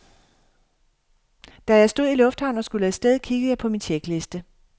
Da jeg stod i lufthavnen og skulle af sted, kiggede jeg på min tjekliste.